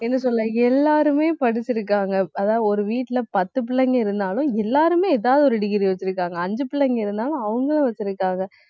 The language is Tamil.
என்ன சொல்ல எல்லாருமே படிச்சிருக்காங்க. அதாவது ஒரு வீட்டுல பத்து பிள்ளைங்க இருந்தாலும், எல்லாருமே ஏதாவது ஒரு degree வச்சிருக்காங்க. அஞ்சு பிள்ளைங்க இருந்தாலும் அவங்களும் வச்சிருக்காங்க